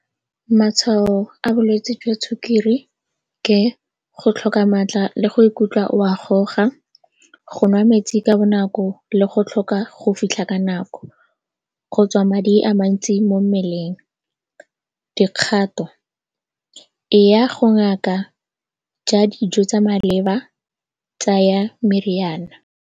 Matshwao a bolwetse jwa sukiri ke go tlhoka maatla le go ikutlwa o a goga, go nwa metsi ka bonako le go tlhoka go fitlha ka nako. Go tswa madi a mantsi mo mmeleng, dikgato e ya go ngaka ja dijo tsa maleba tsaya meriana.